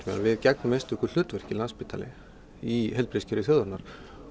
við gegnum einstöku hlutverki Landspítalinn í heilbrigðiskerfi þjóðarinnar